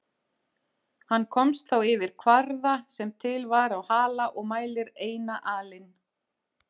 Hann komst þá yfir kvarða sem til var á Hala og mælir eina alin.